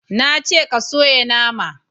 Na ce ka soya nama!